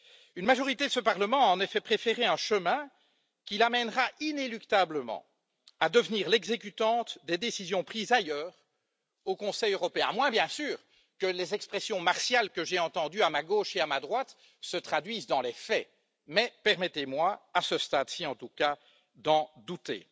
Une majorité de ce Parlement a en effet préféré un chemin qui l'amènera inéluctablement à devenir l'exécutante des décisions prises ailleurs, au Conseil européen, à moins bien sûr que les expressions martiales, que j'ai entendues à ma gauche et à ma droite, se traduisent dans les faits, mais permettez moi, à ce stade ci en tout cas, d'en douter.